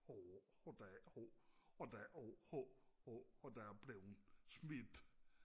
og der og der er og der er blevet smidt